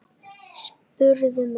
spurðu menn.